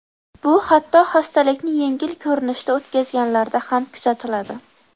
Bu hatto hastalikni yengil ko‘rinishda o‘tkazganlarda ham kuzatiladi.